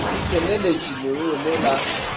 le tseneletše leruo le la